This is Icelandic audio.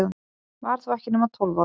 Var þó ekki nema tólf ára.